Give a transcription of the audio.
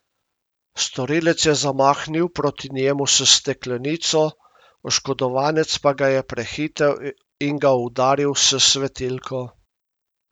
Storilec je zamahnil proti njemu s steklenico, oškodovanec pa ga je prehitel in ga udaril s svetilko.